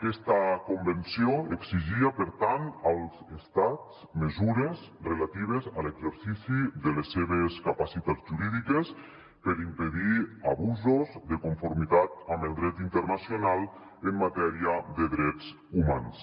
aquesta convenció exigia per tant als estats mesures relatives a l’exercici de les seves capacitats jurídiques per impedir abusos de conformitat amb el dret internacional en matèria de drets humans